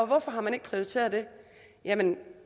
hvorfor har man ikke prioriteret det jamen